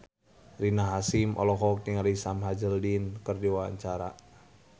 Rina Hasyim olohok ningali Sam Hazeldine keur diwawancara